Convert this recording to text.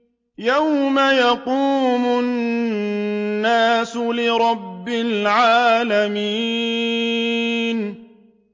يَوْمَ يَقُومُ النَّاسُ لِرَبِّ الْعَالَمِينَ